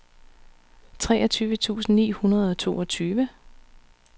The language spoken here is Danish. treogtyve tusind ni hundrede og toogtyve